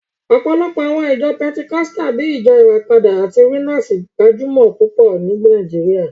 Ọ̀pọ̀lọpọ̀ àwọn ìjọ pẹtikọ́sítà bíi Ìjọ Ìràpadà àti Winners gbajúmọ̀ púpọ̀ ní Nàìjíríà